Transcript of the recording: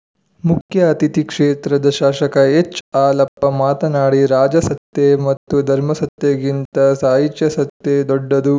ಮುಖ್ಯ ಅತಿಥಿ ಕ್ಷೇತ್ರದ ಶಾಸಕ ಎಚ್‌ಹಾಲಪ್ಪ ಮಾತನಾಡಿ ರಾಜಸತ್ತೆ ಮತ್ತು ಧರ್ಮಸತ್ತೆಗಿಂತ ಸಾಹಿತ್ಯಾಸತ್ತೆ ದೊಡ್ಡದು